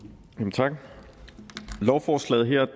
tak